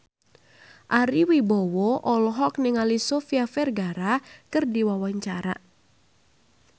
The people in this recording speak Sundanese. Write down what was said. Ari Wibowo olohok ningali Sofia Vergara keur diwawancara